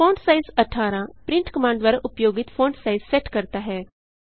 font size 18 print command द्वारा उपयोगित font size set करता है